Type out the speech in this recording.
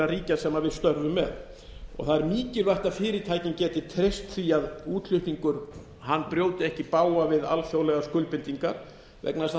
ríkja sem við störfum með það er mikilvægt að fyrirtækin geti treyst því að útflutningur brjóti ekki í bága við alþjóðlegar skuldbindingar vegna þess að það